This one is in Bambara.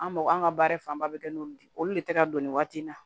An mako an ka baara fanba bɛ kɛ n'olu de ye olu le tɛ ka don nin waati in na